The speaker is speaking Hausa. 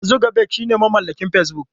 Mark Zuckerberg shine mamallakin Facebook.